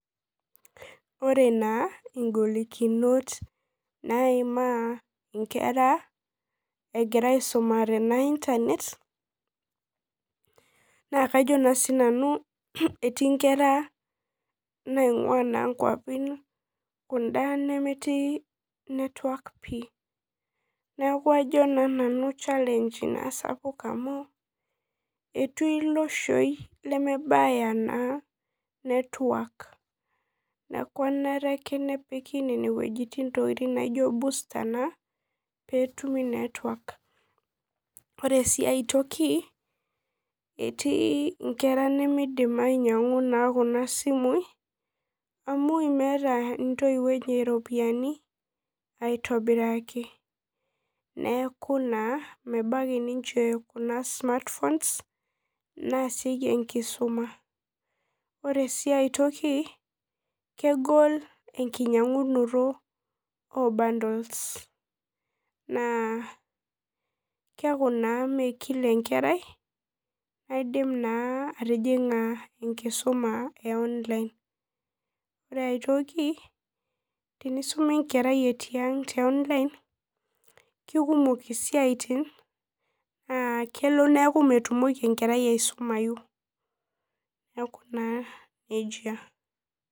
Ore na ngolikinot naimaa nkera egira aisumare ena internet na kajo etii nkera naingua nkeapi kuna kwapi nemetii network pii neaku kajo na nanu challenge sapuk enaamu etii iloshoi nemebaya network neaku kenare ake nepiki wuejitin nijo ine busta petumi network ore si aitoki etii nkera nemeidim ainyangu kuna simui amu meeta ntoiwuo eny ropiyani aitobiraki neaku mebaki ninche kuna smartphones naasieki enkisuma ore si aaitoki kegol enkinyangunoto obundles na keaku na mekila enkerai naidim atijinga enkusuma kekumok isiatin neaku metumoki enkerai aisumai neaku na nejia.